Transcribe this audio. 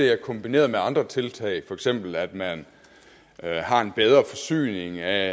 er kombineret med andre tiltag for eksempel at man har en bedre forsyning af